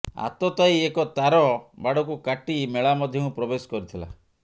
ଆତତାୟୀ ଏକ ତାର ବାଡକୁ କାଟି ମେଳା ମଧ୍ୟକୁ ପ୍ରବେଶ କରିଥିଲା